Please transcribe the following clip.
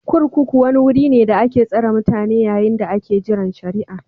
kurkuku wuri ne da ake tsare mutane yayin da ake jiran shari'a